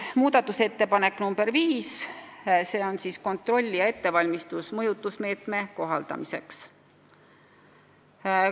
Muudatusettepanek nr 5 – kontrollija ettevalmistus mõjutusmeetme kohaldamiseks.